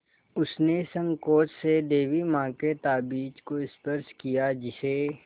उसने सँकोच से देवी माँ के ताबीज़ को स्पर्श किया जिसे